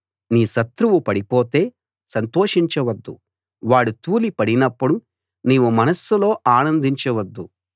నీ శత్రువు పడిపొతే సంతోషించవద్దు వాడు తూలిపడినప్పుడు నీవు మనస్సులో అనందించవద్దు